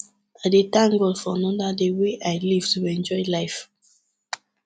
i dey thank god for anoda day wey i live to enjoy life